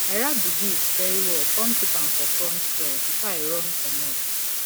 i wrap the gift very well come keep am for front door before i run comot